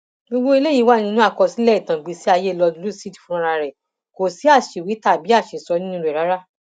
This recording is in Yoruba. gbogbo eléyìí wà nínú àkọsílẹ ìtàn ìgbésíayé lord lúcid fúnra ẹ kò sí àṣìwí tàbí àṣìsọ nínú rẹ rárá